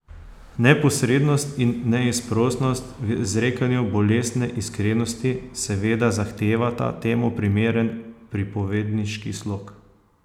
Neposrednost in neizprosnost v izrekanju bolestne iskrenosti seveda zahtevata temu primeren pripovedniški slog.